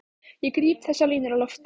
Ég gríp þessar línur á lofti.